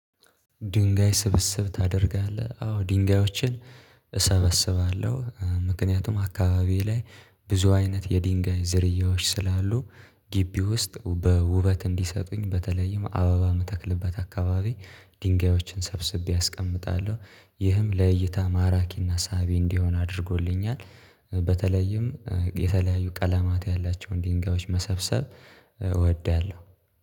ድንጋይ ስብስብ ታደርጋለህ? አዎ ድንጋዮችን እሰበስባለሁ። ምክንያቱም አካባቢዬ ላይ ብዙ አይነት የድንጋይ ዝርያዎች ስላሉ። ግቢ ውስጥ በውበት እንዲሰጡኝ በተለይም አበባ መተክልበት አካባቢ ድንጋዮችን ሰብስቤ አስቀምጣለሁ። ይህም ለይይታ ማራኪና ሳቢ እንዲሆን አድርጎልኛል። በተለይም የተለያዩ ቀለማት ያላቸውን ድንጋዮች መሰብሰብ እወዳለሁ።